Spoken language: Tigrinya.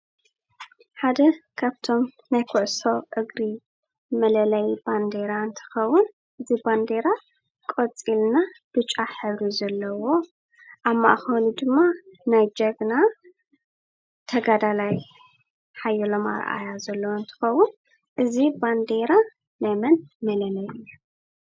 ሓደ ካብቶም ናይ ኩዕሶ እግሪ መለለዪ ባንዴራ እንትኸዉን እዚ ባንዴራ ቆፂል እና ብጫ ሕብሪ ዘለዎ ኣብ ማእኸሉ ድማ ናይ ጅግና ተጋዳላይ ሓየሎም ኣርኣያ ዘለዎ እንትኸዉን እዚ ባንዴራ ናይ መን መለለዪ እዩ?